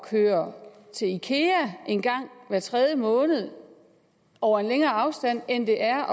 køre til ikea en gang hver tredje måned over længere afstande end det er